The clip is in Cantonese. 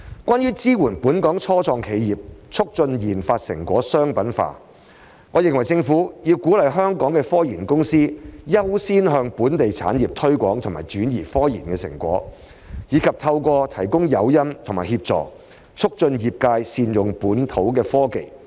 關於"支援本港初創企業，促進研發成果商品化"，我認為政府要鼓勵香港的科研公司優先向本地企業推廣和轉移科研成果，以及透過提供誘因和協助，促進業界善用本土科技。